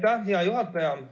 Aitäh, hea juhataja!